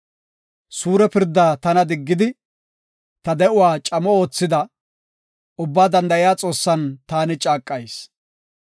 “Suure pirdaa tana diggidi, ta de7uwa camo oothida, Ubbaa Danda7iya Xoossan taani caaqayis.